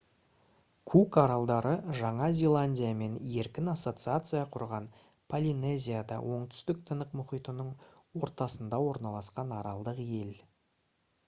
кук аралдары жаңа зеландиямен еркін ассоциация құрған полинезияда оңтүстік тынық мұхитының ортасында орналасқан аралдық ел